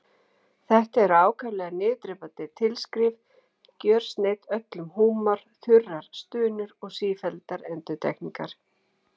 Þetta eru ákaflega niðurdrepandi tilskrif, gjörsneydd öllum húmor, þurrar stunur og sífelldar endurtekningar.